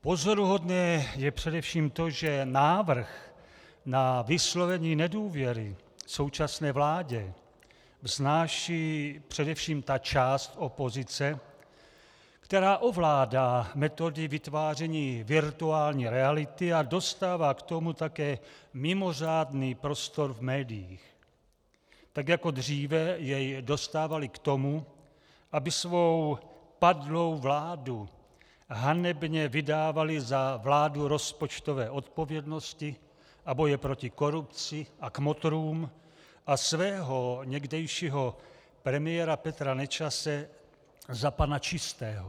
Pozoruhodné je především to, že návrh na vyslovení nedůvěry současné vládě vznáší především ta část opozice, která ovládá metody vytváření virtuální reality a dostává k tomu také mimořádný prostor v médiích, tak jako dříve jej dostávali k tomu, aby svou padlou vládu hanebně vydávali za vládu rozpočtové odpovědnosti a boje proti korupci a kmotrům a svého někdejšího premiéra Petra Nečase za pana čistého.